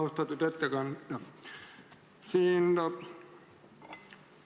Austatud ettekandja!